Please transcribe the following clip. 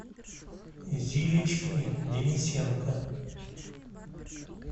зилечки денисенко